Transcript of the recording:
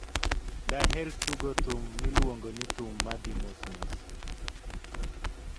Daher tugo thum miluongo ni thum ma dhi mos mos